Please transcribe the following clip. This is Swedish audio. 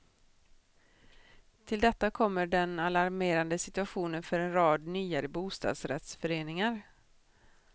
Till detta kommer den alarmerande situationen för en rad nyare bostadsrättsföreningar.